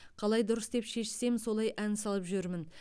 қалай дұрыс деп шешсем солай ән салып жүрмін